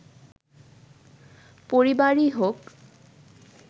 পরিবারই হোক